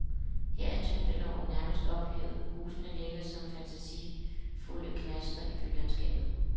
Her er tyngdeloven nærmest ophævet, husene ligger som fantasifulde knaster i bylandskabet.